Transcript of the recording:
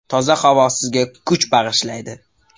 Toza havo sizga kuch bag‘ishlaydi.